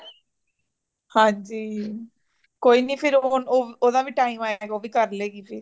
ਹਾਂਜੀ , ਕੋਈ ਨਾਈ ਫਿਰ ਓ , ਓਦਾਂ ਵੀ time ਆਏਗਾ ਉਹ ਵੀ ਕਰ ਲਵੇਗੀ ਫਿਰ